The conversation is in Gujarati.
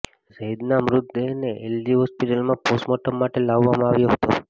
ઝૈદના મૃતદેહને એલજી હોસ્પિટલમાં પોસ્ટમોર્ટમ માટે લાવવામાં આવ્યો હતો